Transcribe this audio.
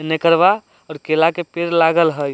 और केला के पेड़ लागल हई।